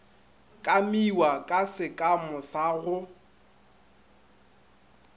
kamiwa ka sekamo sa go